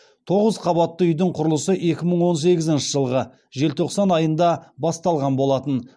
тоғыз қабатты үйдің құрылысы екі мың он сегізінші жылғы желтоқсан айында басталған болатын